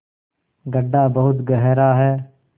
गढ्ढा बहुत गहरा है